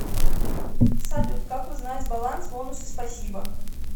салют как узнать баланс бонусы спасибо